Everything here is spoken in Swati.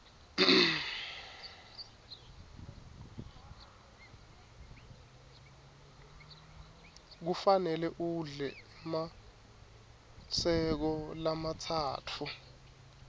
kufanele udle emaseko lamatsatfu